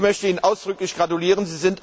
Ich möchte Ihnen ausdrücklich gratulieren.